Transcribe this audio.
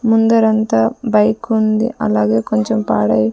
ముందరంతా bike ఉంది అలాగే కొంచెం పాడై--